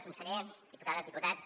conseller diputades diputats